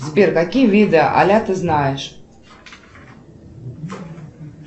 сбер какие виды аля ты знаешь